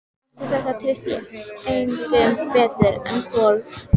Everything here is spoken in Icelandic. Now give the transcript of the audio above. Eftir þetta treysti ég engum betur en Kol.